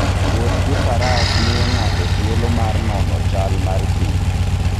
Wuoth gi faras miyo ng'ato thuolo mar nono chal mar thim.